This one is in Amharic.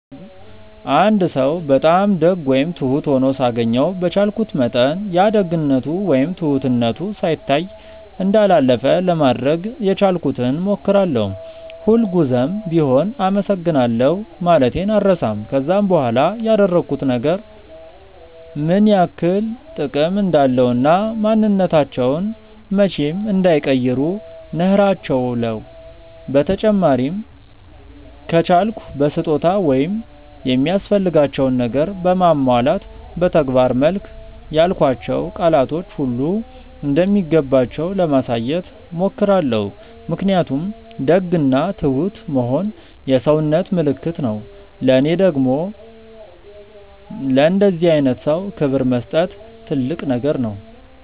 አንድ ሰው በጣም ደግ ወይም ትሁት ሆኖ ሳገኘው በቻልኩት መጠን ያ ደግነቱ ወይም ትሁትነቱ ሳይታይ እንዳላለፈ ለማድረግ የቻልኩትን ሞክራለው፤ ሁል ጉዘም ቢሆም አመሰግናለሁ ማለቴን አልረሳም፤ ከዛም በኋላ ያደረጉት ነገር ምን ያክል ጥቅም እንዳለው እና ማንንነታቸውን መቼም እንዳይቀይሩ ነህራቸውለው፤ በተጨማሪም ከቻልኩ በስጦታ ወይም የሚያስፈልጋቸውን ነገር በማሟላት በተግባር መልክ ያልኳቸው ቃላቶች ሁሉ እንደሚገባቸው ለማሳየት ሞክራለው ምክንያቱም ደግ እና ትሁት መሆን የሰውነት ምልክት ነው ለኔ ደግም ለእንደዚህ አይነት ሰው ክብር መስጠት ትልቅ ነገር ነው።